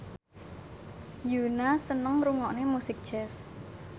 Yoona seneng ngrungokne musik jazz